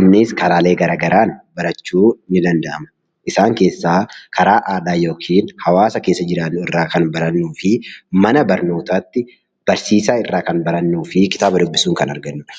innis karaalee garaagaraatiin barachuun ni danda'ama. Isaan keessaa karaa aadaa yookiin hawaasa keessa jiraannu irraa kan barannuu fi mana barnootaatti barsiisaa irraa kan barannudha.